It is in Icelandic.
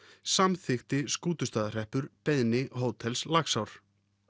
samþykkti Skútustaðahreppur beiðni hótels Laxár